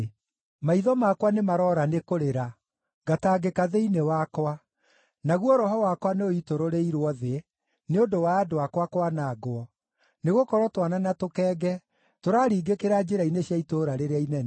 Maitho makwa nĩmaroora nĩ kũrĩra, ngatangĩka thĩinĩ wakwa, naguo roho wakwa nĩũitũrũrĩirwo thĩ nĩ ũndũ wa andũ akwa kwanangwo, nĩgũkorwo twana na tũkenge tũraringĩkĩra njĩra-inĩ cia itũũra rĩrĩa inene.